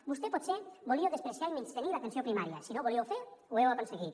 vostè potser volíeu menysprear i menystenir l’atenció primària i si no ho volíeu fer ho heu aconseguit